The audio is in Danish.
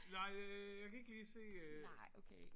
Nej øh jeg kan ikke lige se øh